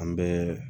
An bɛɛ